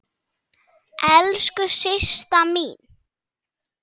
Elsku Systa mín.